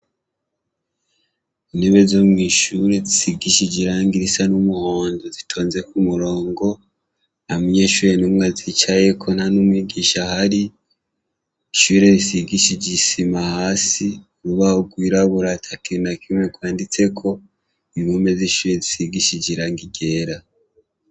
Intebe zo mw'ishuri zisigishije irangi risa n'umuhondo zitonze ku murongo nta munyeshure n'umwe azicayeko nta n'umwigisha ahari, ishure risigishije isima hasi, urubaho rwirabura ata kintu na kimwe kwanditseko, impome z'ishure zisigishije irangi ryera.